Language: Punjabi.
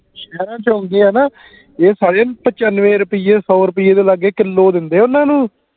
ਸ਼ਹਿਰਾ ਚ ਆਉਂਦੇ ਆ ਨਾ ਇਹ ਸਾਰੇ ਪਚਾਨਵੇਂ ਰੁਪਈਏ ਸੋ ਰੁਪਈਏ ਦੇ ਲਗੇ ਕਿਲੋ ਦਿੰਦੇ ਓਹਨਾ ਨੂੰ